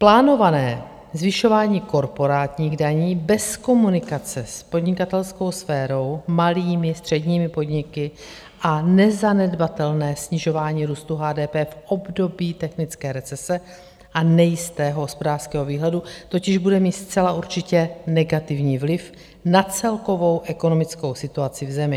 Plánované zvyšování korporátních daní bez komunikace s podnikatelskou sférou, malými středními podniky a nezanedbatelné snižování růstu HDP v období technické recese a nejistého hospodářského výhledu totiž bude mít zcela určitě negativní vliv na celkovou ekonomickou situaci v zemi.